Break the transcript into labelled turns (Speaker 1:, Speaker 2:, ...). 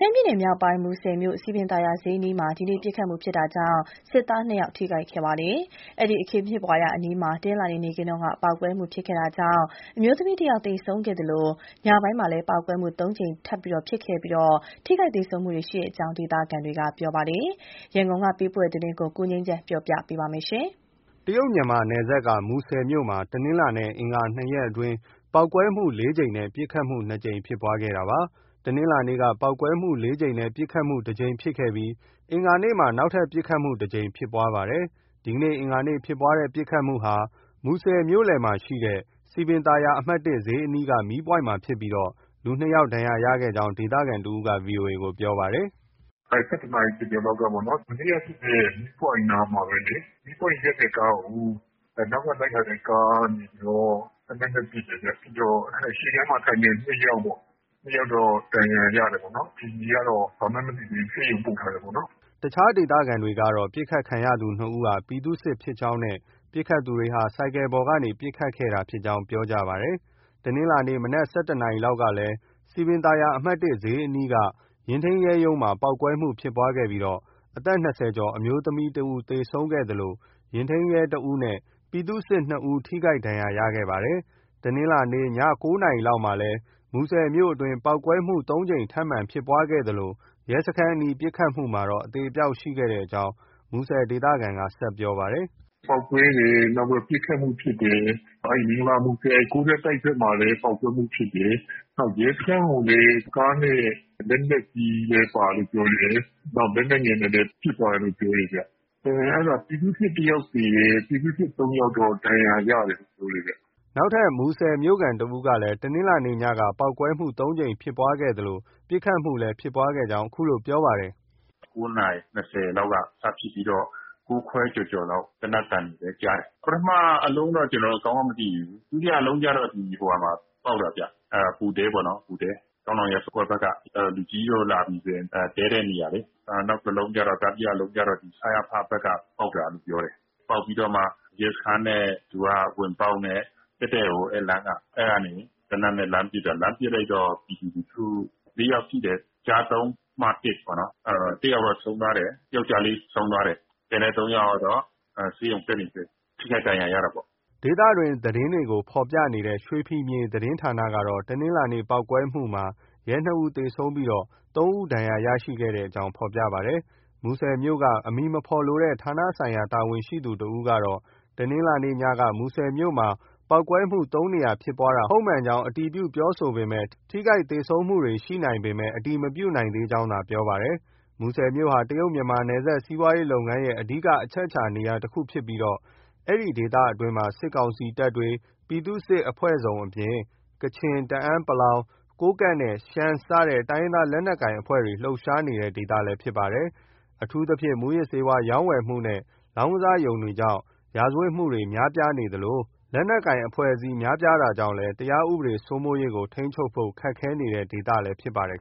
Speaker 1: မ်းပြည်နယ်မြောက်ပိုင်း မူဆယ်မြို့ စည်ပင်သာယာဈေးအနီးမှာ ဒီနေ့ ပစ်ခတ်မှုဖြစ်တာကြောင့် ပြည်သူ့စစ် ၂ ယောက်ထိခိုက်ခဲ့ပါတယ်။ အဲဒီ့ အခင်းဖြစ်ပွားရာအနီးမှာ တနင်္လာနေ့ နေ့ခင်းကလည်း ပေါက်ကွဲမှုဖြစ်ခဲ့တာကြောင့် အမျိုးသမီးတယောက် သေဆုံးခဲ့သလို ညပိုင်းမှာလည်းပေါက်ကွဲမှု ၃ ကြိမ်လောက် ထပ်မံဖြစ်ခဲ့ပြီး ထိခိုက်သေဆုံးမှုတွေ ရှိကြောင်း ဒေသခံတွေက ပြောပါတယ်။ ရန်ကုန်က ပေးပို့တဲ့သတင်း ကိုငြိမ်းချမ်းက တင်
Speaker 2: ပြပေးထားပါတယ်။ တရုတ်- မြန်မာနယ်စပ်က မူဆယ်မြို့မှာ တနင်္လာနေ့နဲ့ အင်္ဂါနေ့ ၂ ရက်အတွင်း ပေါက်ကွဲမှု ၄ ကြိမ်နဲ့ ပစ်ခတ်မှု ၂ ကြိမ် ဖြစ်ခဲ့တာပါ။ တနင်္လာနေ့မှာ ပေါက်ကွဲမှု ၄ ကြိမ်နဲ့ ပစ်ခတ်မှုတကြိမ်ဖြစ်ခဲ့ပြီး အင်္ဂါနေ့မှာ ပစ်ခတ်မှု တကြိမ် ထပ်မံဖြစ်ပွားပါတယ်။ ဒီနေ့ အင်္ဂါနေ့ပစ်ခတ်မှုဟာ မူဆယ်မြို့ မြို့လယ်ရှိ စည်ပင်သာယာ အမှတ် (၁) ဈေးအနီးက မီးပွိုင့်မှာ ဖြစ်ပြီး လူ နှစ်ယောက်ဒဏ်ရာရခဲ့ကြောင်း ဒေသခံတဦးက VOA ကို ပြောပါတယ်။
Speaker 1: “ ၁၁ နာရီ ကျော်ကျော်လောက်ကပေါ့နော်။ မနေ့ကဖြစ်တဲ့ မီးပွိုင့်နားမှာပဲလေ။ မီးပွိုင့်ရပ်တဲ့ကားကို နောက်ကလိုက်တာတဲ့ကားကနေ သေနတ်နဲ့ပစ်တယ်ဗျ။ ရှေ့ခန်းမှာ ထိုင်နေတဲ့နှစ်ယောက်ပေ့ါ။ နှစ်ယောက်တော့ ဒဏ်ရာရတယ်။ အခြေအနေကတော့ ဘာမှန်း မသိသေးဘူး။ ဆေးရုံပို့ထားတယ်။” အ
Speaker 2: ခြားဒေသခံတွေကတော့ ပစ်ခတ်ခံရသူ နှစ်ဦးဟာ ပြည်သူစစ်ဖြစ်ကြောင်းနဲ့ ပစ်ခတ်သူတွေဟာ ဆိုင်ကယ်ပေါ်ကနေ ပစ်ခတ်တာဖြစ်ကြောင်း ပြောဆိုကြပါတယ်။ တနင်္လာနေ့ မနက် ၁၁ နာရီလောက်ကလည်း စည်ပင်သာယာ အမှတ် (၁) ဈေးအနီးက ယာဉ်ထိန်းရဲရုံးမှာ ပေါက်ကွဲမှုဖြစ်ပွားခဲ့ပြီး အသက် ၂၀ ကျော်အမျိုးသမီးတယောက်သေဆုံးခဲ့သလို ယာဉ်ထိန်းရဲ တယောက်နဲ့ ပြည်သူ့စစ် ၂ ယောက် ထိခိုက်ဒဏ်ရာရခဲ့ပါတယ်။ တနင်္လာနေ့ ည ၉ နာရီလောက်မှာလည်း မူဆယ်မြို့တွင်း ပေါက်ကွဲမှု ၃ ကြိမ်ထပ်မံဖြစ်ခဲ့သလို ရဲစခန်းအနီး ပစ်ခတ်မှုမှာတော့ အသေအပျောက်ရှိခဲ့ကြောင်း မူဆယ်ဒေသခံက ဆက်ပြောပါတယ်။
Speaker 1: “ ပေါက်ကွဲတယ်။ နောက်ပြီး ပစ်ခတ်မှုဖြစ်တယ်။ မင်္ဂလာမူဆယ် ၉ ထပ်တိုက်ဘက်မှာလည်း ပေါက်ကွဲမှုဖြစ်တယ်။ နောက်ရဲစခန်းကိုလည်း ကားနဲ့ လက်နက်ကြီးလည်း ပါတယ်လို့ ပြောတယ်။ နောက် လက်နက်ငယ်နဲ့လည်း ပစ်သွားတယ်လို့ ပြောတယ်ဗျ။ အဲဒါ ပြည်သူ့စစ်တယောက်သေတယ်။ ပြည်သူ့စစ် ၃ ယောက် ဒဏ်ရာရတယ်လို့ ပြောတယ်ဗျ။” အ
Speaker 2: ခြားမူဆယ်မြို့ခံံတဦးကလည်း တနင်္လာနေ့ည ပေါက်ကွဲမှု ၃ ကြိမ်ဖြစ်ခဲ့သလို ပစ်ခတ်မှုလည်း ဖြစ်ပွားခဲ့ကြောင်း ပြောပါတယ်
Speaker 3: ။ “ ၉ နာရီ ၂၀ လောက်က စဖြစ်ပြီးတော့ ၉ ခွဲကျော်ကျော်လောက် သေနတ်သံတွေလည်း ကြားတယ်။ ပထမအလုံးတော့ ကျနော်တို့ ကောင်းကောင်းမသိဘူး။ ဒုတိယအလုံးကျတော့ ဟိုဟာမှာပေါက်တာဗျ။ ဗိုလ်တဲပေါ့နော်။ ဗိုလ်တဲ။ ကောင်းနောင်ရပ်ကွက်ဘက်က လူကြီးတွေလာပြီဆိုရင် တည်းတဲ့နေရာလေ။ နောက်တလုံးကျတော့ တတိယအလုံးကျတော့ စရဖ ဘက်မှာ ပေါက်တာလို့ပြောတယ်။ ပေါက်ပြီးတော့မှ သူက ရဲစခန်းဝင်ပေါက်နဲ့ တည့်တည့်လေ အဲဒီလမ်းက။ အဲဒီကနေ သေနတ်နဲ့ လှမ်းပစ်တာ။ လှမ်းပစ်လိုက်တော့ ပြည်သူလူထု ၄ ယောက် ထိတယ်။ ကျား ၃ ၊ မ ၁ ပေါ့နော်။ တယောက်တော့ ဆုံးသွားတယ်။ ယောက်ျားလေး ဆုံးသွားတယ်။ ကျန်တဲ့ ၃ ယောက်ကတော့ ဆေးရုံတက်နေဆဲ။ ထိခိုက်ဒဏ်ရာရတာပေါ့
Speaker 2: ။ ” ဒေသတွင်းသတင်းတွေကိုဖော်ပြနေတဲ့ ရွှေဖီမြေသတင်းဌာနကတော့ တနင်္လာနေ့ ပေါက်ကွဲမှုမှာ ရဲ ၂ ဦး သေဆုံးပြီး ၃ ဦး ဒဏ်ရရှိကြောင်းဖော်ပြပါတယ်။ မူဆယ်မြို့က အမည်မဖော်လိုတဲ့ ဌာနဆိုင်ရာ တာဝန်ရှိသူတဦးကတော့ တနင်္လာနေ့ည မူဆယ်မြို့မှာ ပေါက်ကွဲမှု ၃ နေရာဖြစ်ပွားတာ ဟုတ်မှန်ကြောင်း အတည်ပြုပြောဆိုပေမယ့် ထိခိုက်သေဆုံးမှုရှိနိုင်ပေမယ့် အတည်မပြုနိုင်သေးကြောင်းသာ ပြောပါတယ်။ မူဆယ်မြို့ဟာ တရုတ် မြန်မာ နယ်စပ်စီးပွားရေးလုပ်ငန်းရဲ့ အဓိက အချက်အခြာနေရာတခုဖြစ်ပြီး ဒီဒေသအတွင်းမှာ စစ်ကောင်စီတပ်၊ ပြည်သူ့စစ်အဖွဲ့စုံအပြင် ကချင်၊ တအန်း(ပလောင်)၊ ကိုးကန့်နဲ့ ရှမ်းစတဲ့တိုင်းရင်းသားလက်နက်ကိုင်အဖွဲ့တွေ လှုပ်ရှားနေတဲ့ ဒေသလည်း ဖြစ်ပါတယ်။ အထူးသဖြင့် မူးယစ်ဆေးဝါးရောင်းဝယ်မှုနဲ့ လောင်းကစားရုံတွေကြောင့် ရာဇဝတ် မှုတွေ များပြားနေသလို လက်နက်ကိုင်အဖွဲ့အစည်းတွေ များပြားတာကြောင့်လည်း တရားဥပဒေ စိုးမိုးရေးကို ထိန်းချုပ်ဖို့ ခက်ခဲနေတဲ့ဒေသလည်းဖြစ်ပါတယ်